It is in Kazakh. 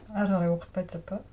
әрі қарай оқытпайды деп пе